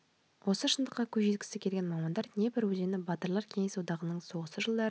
осы шындыққа көз жеткізгісі келген мамандар днепр өзені батырлар кеңес одағының соғысы жылдары